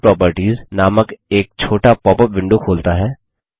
यह प्रॉपर्टीज नामक एक छोटा पॉपअप विंडो खोलता है